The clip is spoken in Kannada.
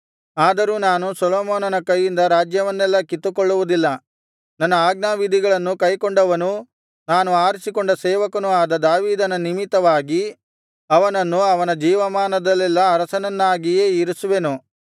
ಆದರೂ ನಾನು ಸೊಲೊಮೋನನ ಕೈಯಿಂದ ರಾಜ್ಯವನ್ನೆಲ್ಲಾ ಕಿತ್ತುಕೊಳ್ಳುವುದಿಲ್ಲ ನನ್ನ ಆಜ್ಞಾವಿಧಿಗಳನ್ನು ಕೈಕೊಂಡವನೂ ನಾನು ಆರಿಸಿಕೊಂಡ ಸೇವಕನೂ ಆದ ದಾವೀದನ ನಿಮಿತ್ತವಾಗಿ ಅವನನ್ನು ಅವನ ಜೀವಮಾನದಲ್ಲೆಲ್ಲಾ ಅರಸನನ್ನಾಗಿಯೇ ಇರಿಸುವೆನು